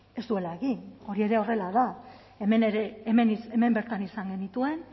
ez duela egien hori ere horrela da hemen bertan izan genituen